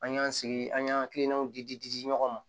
An y'an sigi an y'an hakilinaw di di di di di ɲɔgɔn ma